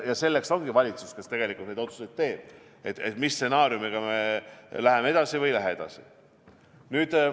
Ja selleks ongi valitsus, kes tegelikult neid otsuseid teeb, millise stsenaariumiga me läheme edasi või ei lähe edasi.